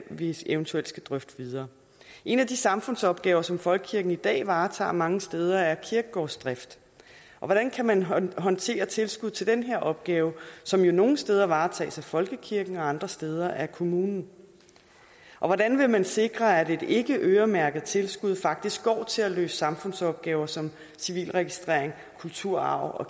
vi eventuelt skal drøfte videre en af de samfundsopgaver som folkekirken i dag varetager mange steder er kirkegårdsdrift hvordan kan man håndtere håndtere tilskud til den opgave som nogle steder varetages af folkekirken og andre steder af kommunen og hvordan vil man sikre at et ikkeøremærket tilskud faktisk går til at løse samfundsopgaver som civilregistrering kulturarv og